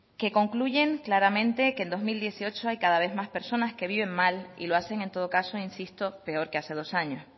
que concluyen claramente que en dos mil dieciocho hay cada vez más personas que viven mal y lo hacen en todo caso insisto peor que hace dos años